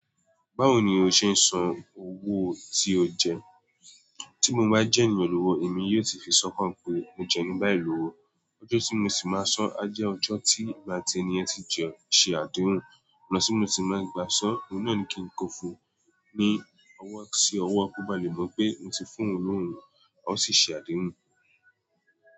Báwo ni o ṣe ń san owó tí o jẹ? Tí mo bá jẹ́ ènìyàn ni ọwọ́, èmi yóò ti fi sọkàn pé mo jẹun ẹni báyìí lọ́wọ́. Ọjọ́ tí mo sì máa sán á jẹ́ ọjọ́ tí èmi àti ènìyàn tí jọ ṣe àdéhùn. Ó ná tí mo ti máa gba sán, inú náà ni kí n kó fún ní ọwọ́ sí ọwọ́, kó bá lè mọ̀ pé mo ti fún òun lówó hun, ó sì ṣe àdéhùn.